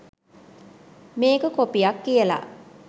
මේක කොපියක් කියලා